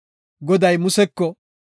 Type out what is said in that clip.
Goday Museko,